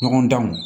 Ɲɔgɔn danw